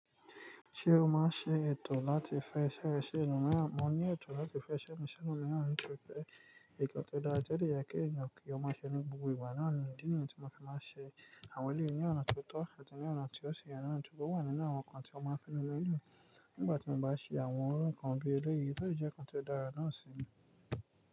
Ṣé o ma ń ṣe ètò láti fẹ́ iṣẹ́ rẹ sí ẹlòmíràn? Mo ní ètò láti fẹ́ iṣẹ́ mi ṣí ẹlòmíràn nítorí pé nǹkan tó dára tó dẹ̀ yẹ kí èèyàn kí ó máa ṣe ni. Gbogbo ìgbà náà ni ìdí nìyẹn tí mo fi ma ń ṣe àwọn eléyìí ní ọ̀nà tí ótọ́ àti ní ọ̀nà tí ó ṣì yẹ nà án, ṣùgbọ́n ó wà nínú àwọn nǹkan tí wọ́n máa ń fi nu ilé. Nígbà tí mo bá ṣe àwọn irú nǹkan bí eléyìí, ó lè jẹ́ nǹkan tó dára náà sì ni.